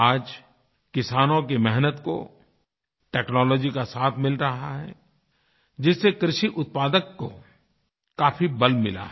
आज किसानों की मेहनत को टेक्नोलॉजी का साथ मिल रहा है जिससे कृषिउत्पादकको काफी बल मिला है